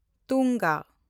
ᱛᱩᱝᱜᱟ